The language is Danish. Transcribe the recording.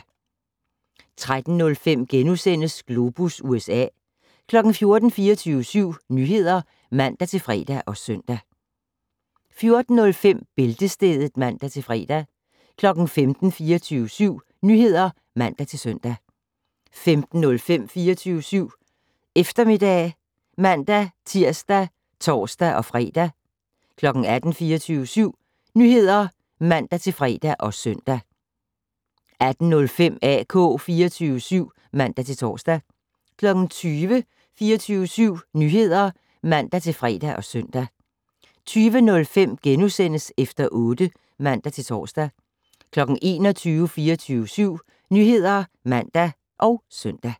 13:05: Globus USA * 14:00: 24syv Nyheder (man-fre og søn) 14:05: Bæltestedet (man-fre) 15:00: 24syv Nyheder (man-søn) 15:05: 24syv Eftermiddag (man-tir og tor-fre) 18:00: 24syv Nyheder (man-fre og søn) 18:05: AK 24syv (man-tor) 20:00: 24syv Nyheder (man-fre og søn) 20:05: Efter otte *(man-tor) 21:00: 24syv Nyheder (man og søn)